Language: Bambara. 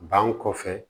Ban kɔfɛ